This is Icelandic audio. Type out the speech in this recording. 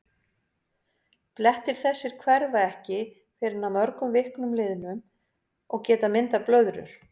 Blettir þessir hverfa ekki fyrr en að mörgum vikum liðnum og geta myndað blöðrur.